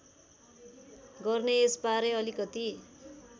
गर्ने र यसबारे अलिकति